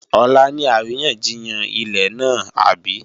Ọ̀la ni àríyànjiyàn ilẹ̀ náà àbí?